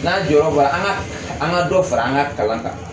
N'a y'an jɔyɔrɔ fa an ka an ka dɔ fara an ka kalan kan